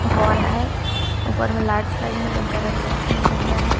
Wall है ऊपर में लाइट्स लगे हैं जिनका रिफ्लेक्सन बन रहा है।